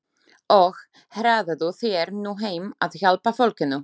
Og hraðaðu þér nú heim að hjálpa fólkinu.